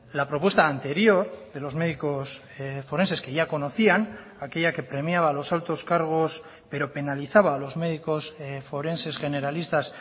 la propuesta anterior de los médicos forenses que ya conocían aquella que premiaba a los altos cargos pero penalizaba a los médicos forenses generalistas